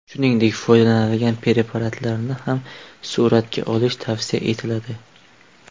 Shuningdek, foydalanilgan preparatlarni ham suratga olish tavsiya etiladi.